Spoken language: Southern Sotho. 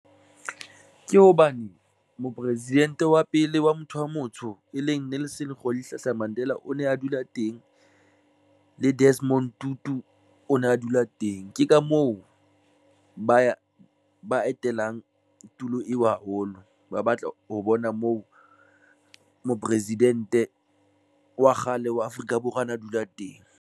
Ke hobane Mopresidente wa pele wa motho wa motsho e leng Nelson Rolihlahla Mandela o ne a dula teng le Desmond Tutu o ne a dula teng. Ke ka mo moo ba etelang tulo eo haholo ba batla ho bona moo mopresidente wa kgale wa Afrika Borwa a na dula teng